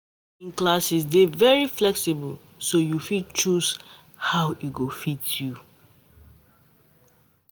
Evening classes dey very flexible, so you fit choose how e go fit u.